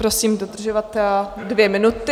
Prosím dodržovat dvě minuty.